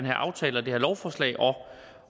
her aftale og det her lovforslag